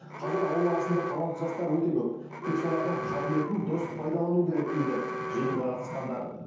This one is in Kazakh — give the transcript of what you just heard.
қазір ауыл арасында талантты жастар өте көп тек солардың қабілетін дұрыс пайдалану керек дейді жиынға қатысқандар